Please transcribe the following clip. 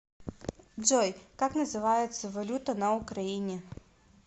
джой как называется валюта на украине